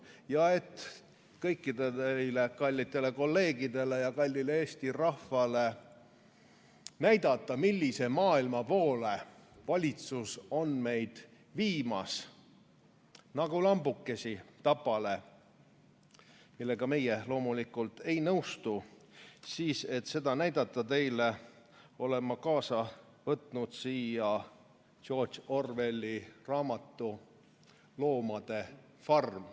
Ja et kõikidele teile kallitele kolleegidele ja kallile Eesti rahvale näidata, millise maailma poole valitsus on meid viimas nagu lambukesi tapale, millega meie loomulikult ei nõustu, selleks et seda teile näidata, olen ma kaasa võtnud George Orwelli raamatu "Loomade farm".